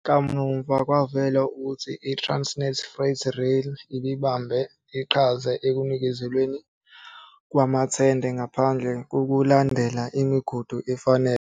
Kamuva kwavela ukuthi iTransnet Freight Rail ibibambe iqhaza ekunikezelweni kwamathenda ngaphandle kokulandela imigudu efanele.